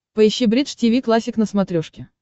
поищи бридж тиви классик на смотрешке